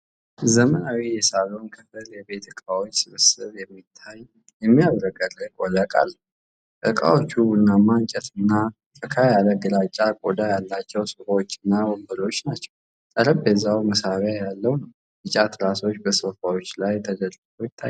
ዘመናዊ የሳሎን ክፍል የቤት እቃዎች ስብስብ የሚታይ፣ የሚያብረቀርቅ ወለል አለው። እቃዎቹ ቡናማ እንጨትና ፈካ ያለ ግራጫ ቆዳ ያላቸው ሶፋዎችና ወንበሮች ናቸው። ጠረጴዛው መሳቢያ ያለው ነው፣ ቢጫ ትራሶች በሶፋዎቹ ላይ ተደርድረው ይታያሉ።